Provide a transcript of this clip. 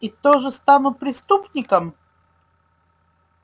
и тоже стану преступником